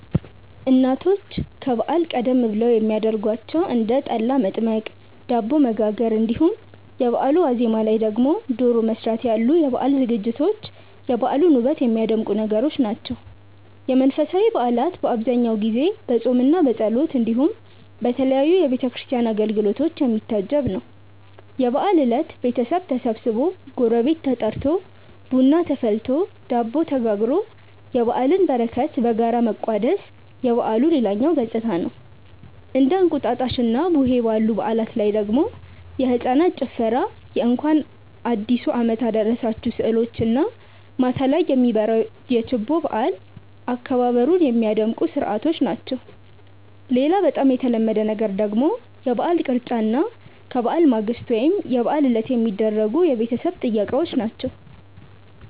እናቶች ከበዓል ቀደም ብለው የሚያረጓቸው እንደ ጠላ መጥመቅ፣ ዳቦ መጋገር እንዲሁም የበአሉ ዋዜማ ላይ ደግሞ ዶሮ መስራት ያሉ የበዓል ዝግጅቶች የበዓሉን ውበት የሚያደምቁ ነገሮች ናቸው። የመንፈሳዊ በዓላት በአብዛኛው ጊዜ በፆምምና በጸሎት እንዲሁም በተለያዩ የቤተ ክርስቲያን አገልግሎቶች የሚታጀብ ነው። የበዓል እለት ቤተሰብ ተሰብስቦ፣ ጎረቤት ተጠርቶ፣ ቡና ተፈልቶ፣ ዳቦ ተጋግሮ የበዓልን በረከት በጋራ መቋደስ የበዓሉ ሌላኛው ገፅታ ነው። እንደ እንቁጣጣሽና ቡሄ ባሉ በዓላት ላይ ደግሞ የህፃናት ጭፈራ የእንኳን አዲሱ አመት አደረሳችሁ ስዕሎች እና ማታ ላይ የሚበራው ችቦ የበዓል አከባበሩን ሚያደምቁ ስርዓቶች ናቸው። ሌላ በጣም የተለመደ ነገር ደግሞ የበዓል ቅርጫ እና ከበዓል ማግስት ወይም የበዓል ዕለት የሚደረጉ የቤተሰብ ጥየቃዎች ናቸው።